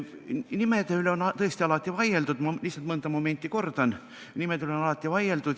Nimede üle on tõesti alati vaieldud, ma lihtsalt mõnda momenti kordan.